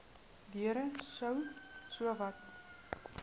deure sou sowat